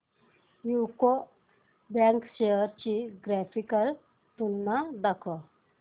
UCO bank shares ची graphical तुलना दाखव